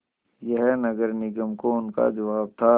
यह नगर निगम को उनका जवाब था